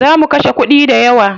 Za mu kashe kuɗi dayawa.